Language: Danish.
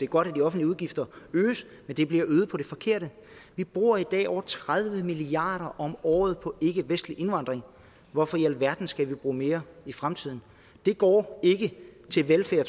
godt at de offentlige udgifter øges men de bliver øget på det forkerte vi bruger i dag over tredive milliard kroner om året på ikkevestlig indvandring hvorfor i alverden skal vi bruge mere i fremtiden det går ikke til velfærd